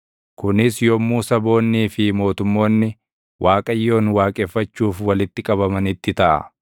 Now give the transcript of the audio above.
kunis yommuu saboonnii fi mootummoonni, Waaqayyoon waaqeffachuuf walitti qabamanitti taʼa.